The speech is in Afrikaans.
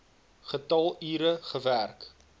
getal ure gewerk